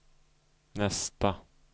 nästa